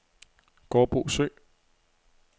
Gårdbo Sø